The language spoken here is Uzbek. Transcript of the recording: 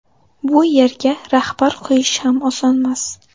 Bu yerga rahbar qo‘yish ham osonmas.